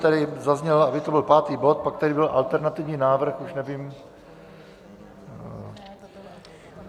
Tady zaznělo, aby to byl pátý bod, pak tady byl alternativní návrh, už nevím...